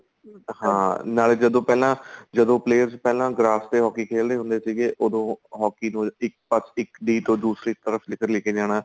ਹਾਂ ਨਾਲੇ ਜਦੋਂ ਪਹਿਲਾਂ ਜਦੋਂ players ਪਹਿਲਾਂ grass ਤੇ hockey ਖੇਲਦੇ ਹੁੰਦੇ ਸੀਗੇ ਉਦੋਂ hockey ਇੱਕ ਪਾ ਇੱਕ ਤੋਂ ਦੂਸਰੀ ਤਰਫ਼ ਇੱਧਰ ਲੈ ਕੇ ਜਾਣਾ